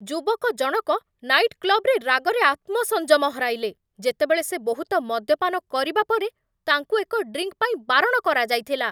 ଯୁବକ ଜଣକ ନାଇଟ୍ କ୍ଲବ୍‌ରେ ରାଗରେ ଆତ୍ମସଂଯମ ହରାଇଲେ ଯେତେବେଳେ ସେ ବହୁତ ମଦ୍ୟପାନ କରିବା ପରେ ତାଙ୍କୁ ଏକ ଡ୍ରିଙ୍କ୍ ପାଇଁ ବାରଣ କରାଯାଇଥିଲା